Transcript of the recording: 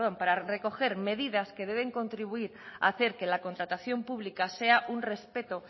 para recoger medidas que deben contribuir a hacer que la contratación pública sea un respeto